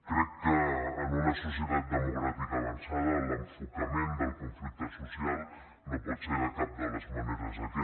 crec que en una societat democràtica avançada l’enfocament del conflicte social no pot ser cap de les maneres aquest